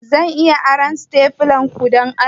Zan iya aron stapler dinku, don Allah?